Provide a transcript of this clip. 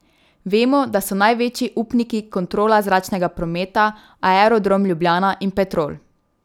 Vemo, da so največji upniki Kontrola zračnega prometa, Aerodrom Ljubljana in Petrol.